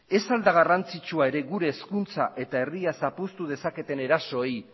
ez al da garrantzitsua ere gure hezkuntza eta herria zapuztu dezaketen erasoei